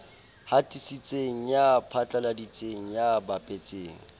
hatisitseng ya phatlaladitseng ya bapetseng